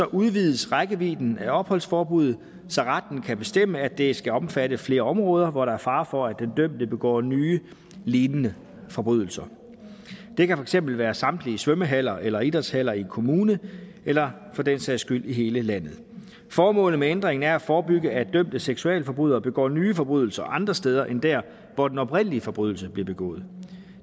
udvides rækkevidden af opholdsforbuddet så retten kan bestemme at det skal omfatte flere områder hvor der er fare for at den dømte begår nye lignende forbrydelser det kan for eksempel være samtlige svømmehaller eller idrætshaller i en kommune eller for den sags skyld i hele landet formålet med ændringen er at forebygge at dømte seksualforbrydere begår nye forbrydelser andre steder end der hvor den oprindelige forbrydelse blev begået